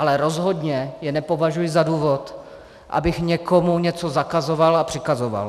Ale rozhodně je nepovažuji za důvod, abych někomu něco zakazoval a přikazoval.